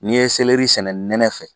N'i ye seleri sɛnɛ nɛnɛ fɛ